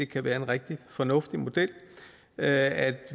kan være en rigtig fornuftig model at